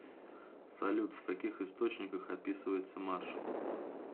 салют в каких источниках описывается маршал